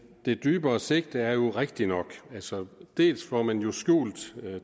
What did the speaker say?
det dybere sigte er jo rigtigt nok dels får man jo skjult